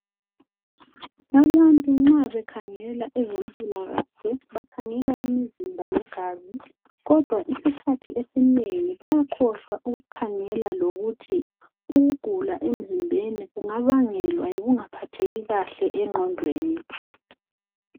Abantu nxa bekhangela ezempilakahle bakhangela imizimba legazi kodwa isikhathi esinengi bayakhohlwa ukukhangela lokuthi ukugula emzimbeni kungabangelwa yikungaphatheki kahle engqondweni.